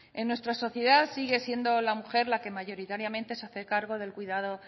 en nuestra sociedad sigue siendo la mujer la que mayoritariamente se hace cargo del cuidado